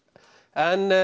en